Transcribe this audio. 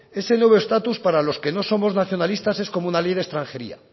ese el nuevo estatus para los que no somos nacionalistas es como una ley de extranjería